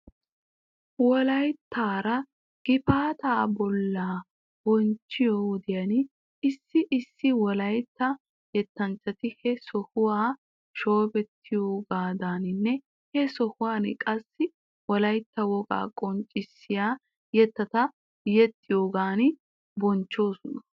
Wolayttaara gifaata baala bonchchiyoo wodiyan issi issi wolaytta yettanchchti he sohuwaa shoobettiyooganinne he sohuwan qassi wolaytta wogaa qonccissiyaa yettata yexxiyoogan bonchchoosona.